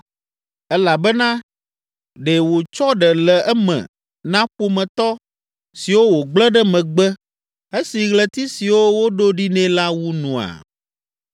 elabena ɖe wòtsɔ ɖe le eme na ƒometɔ siwo wògblẽ ɖe megbe esi ɣleti siwo woɖo ɖi nɛ la wu nua?